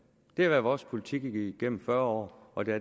det har været vores politik igennem fyrre år og det